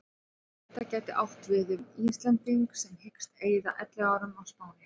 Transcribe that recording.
Þetta gæti átt við um Íslending sem hyggst eyða elliárunum á Spáni.